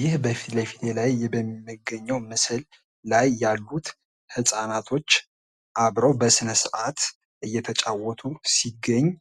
ይህ በምስሉ ላይ የምንመለከተው ምስል ህፃናቶች አብረው በስነስርአት እየተጫወቱ ይገኛሉ።